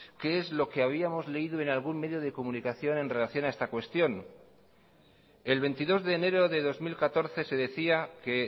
qué es lo que habíamos leído en algún medio de comunicación en relación a esta cuestión el veintidós de enero de dos mil catorce se decía que